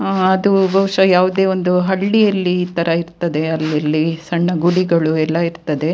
ಅದು ಬಹುಶ ಯಾವದೇ ಒಂದು ಹಳಿಯಲ್ಲಿ ಈ ತರ ಇರ್ತದೆ ಇಲ್ಲಿ ಸಣ್ಣ ಗುಡಿಗಳು ಎಲ್ಲ ಇರ್ತದೆ.